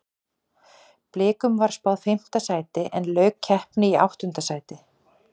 Blikum var spáð fimmta sæti en lauk keppni í áttunda sæti.